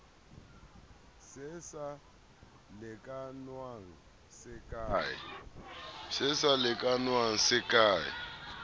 se sa lekanngwang se ke